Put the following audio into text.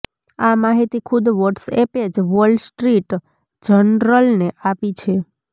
આ માહિતી ખુદ વ્હોટ્સએપે જ વોલ સ્ટ્રીટ જર્નલને આપી છે